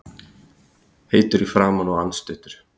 Heitur í framan og andstuttur.